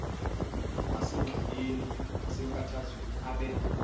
osengxakini nasenkathazweni abe